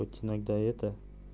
хоть иногда это